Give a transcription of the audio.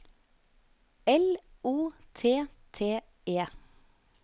L O T T E